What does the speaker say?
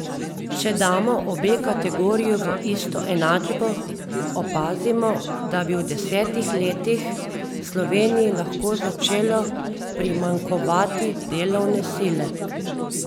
Če damo obe kategoriji v isto enačbo, opazimo, da bi v desetih letih Sloveniji lahko začelo primanjkovati delovne sile.